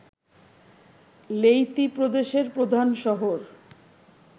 Leyte প্রদেশের প্রধান শহর